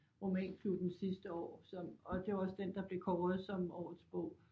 Romanklubben sidste år som og det var også den der blev kåret som årets bog